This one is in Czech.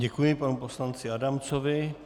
Děkuji panu poslanci Adamcovi.